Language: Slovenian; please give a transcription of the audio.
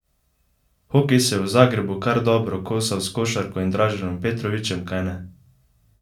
Hokej se je v Zagrebu kar dobro kosal s košarko in Draženom Petrovićem, kajne?